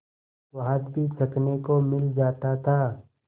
स्वाद भी चखने को मिल जाता था